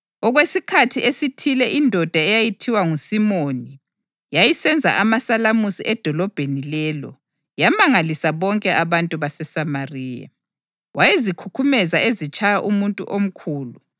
Okwesikhathi esithile indoda eyayithiwa nguSimoni yayisenza amasalamusi edolobheni lelo yamangalisa bonke abantu baseSamariya. Wayezikhukhumeza ezitshaya umuntu omkhulu,